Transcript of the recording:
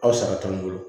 Aw sara t'anw bolo